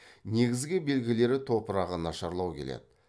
негізгі белгілері топырағы нашарлау келеді